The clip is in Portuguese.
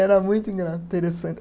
Era muito engra, teressante.